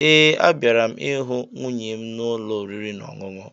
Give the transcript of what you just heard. Ee, abịara m ịhụ nwunye m n'ụlọ oriri na ọṅụṅụ